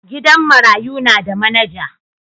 gidan marayu na da manager.